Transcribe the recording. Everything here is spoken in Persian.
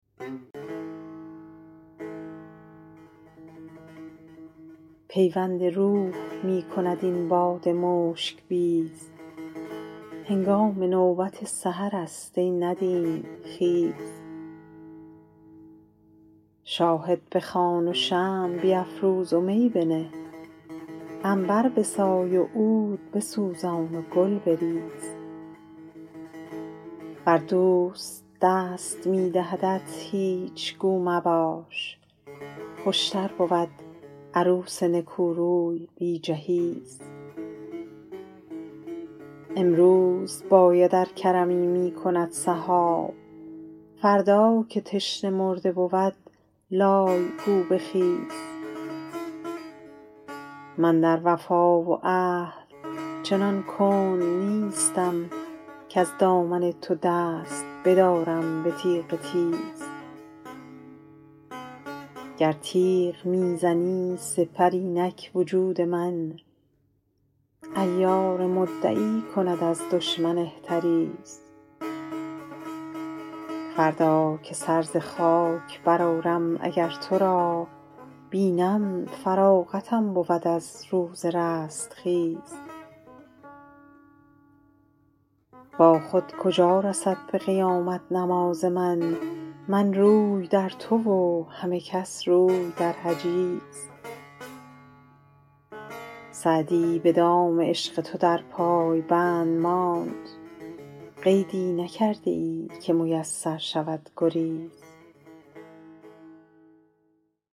پیوند روح می کند این باد مشک بیز هنگام نوبت سحرست ای ندیم خیز شاهد بخوان و شمع بیفروز و می بنه عنبر بسای و عود بسوزان و گل بریز ور دوست دست می دهدت هیچ گو مباش خوشتر بود عروس نکوروی بی جهیز امروز باید ار کرمی می کند سحاب فردا که تشنه مرده بود لای گو بخیز من در وفا و عهد چنان کند نیستم کز دامن تو دست بدارم به تیغ تیز گر تیغ می زنی سپر اینک وجود من عیار مدعی کند از دشمن احتریز فردا که سر ز خاک برآرم اگر تو را بینم فراغتم بود از روز رستخیز تا خود کجا رسد به قیامت نماز من من روی در تو و همه کس روی در حجیز سعدی به دام عشق تو در پای بند ماند قیدی نکرده ای که میسر شود گریز